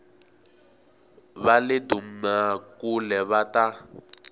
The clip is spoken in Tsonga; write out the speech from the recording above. va le dumakule va ta